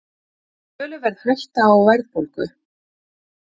Töluverð hætta á verðbólgu